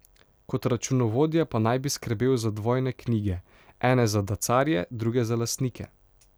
Kot računovodja pa naj bi skrbel za dvojne knjige, ene za dacarje, druge za lastnike.